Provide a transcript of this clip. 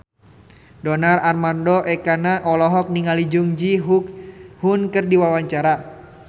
Donar Armando Ekana olohok ningali Jung Ji Hoon keur diwawancara